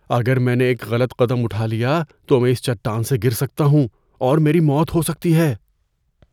اگر میں نے ایک غلط قدم اٹھا لیا تو میں اِس چٹان سے گر سکتا ہوں اور میری موت ہو سکتی ہے۔